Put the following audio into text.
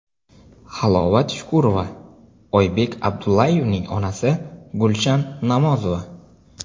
Halovat Shukurova, Oybek Abdullayevning onasi Gulshan Namozova.